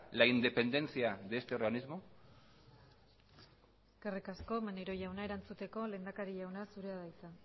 la independencia de este organismo eskerrik asko maneiro jauna erantzuteko lehendakari jauna zurea da hitza